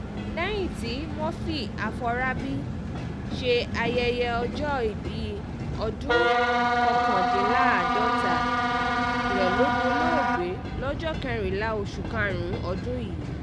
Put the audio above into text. lẹ́yìn tí murphy aforábí ṣe ayẹyẹ ọjọ́òbí ọdún kọkàndínláàádọ́ta rẹ̀ lọ dolóògbé lọ́jọ́ kẹrìnlá oṣù karùn-ún ọdún yìí